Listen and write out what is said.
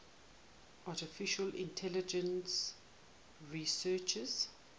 artificial intelligence researchers